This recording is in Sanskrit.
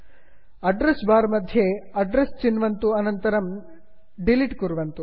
ल्ट्पाउसेग्ट अड्रेस् बार् मध्ये अड्रेस् चिन्वन्तु अनन्तरं डिलिट् कुर्वन्तु